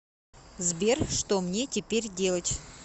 сбер что мне теперь делать